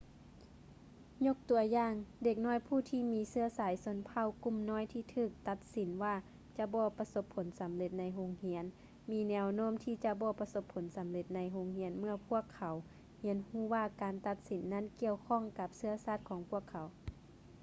ຍົກຕົວຢ່າງ ເດັກນ້ອຍຜູ້ທີ່ມີເຊື້ອສາຍຊົນເຜົ່າກຸ່ມນ້ອຍທີ່ຖືກຕັດສິນວ່າຈະບໍ່ປະສົບຜົນສຳເລັດໃນໂຮງຮຽນມີແນວໂນ້ມທີ່ຈະບໍ່ປະສົບຜົນສຳເລັດໃນໂຮງຮຽນເມື່ອພວກເຂົາຮຽນຮູ້ວ່າການຕັດສິນນັ້ນກ່ຽວຂ້ອງກັບເຊື້ອຊາດຂອງພວກເຂົາ